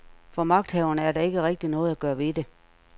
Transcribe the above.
For magthaverne er der ikke rigtigt noget at gøre ved det.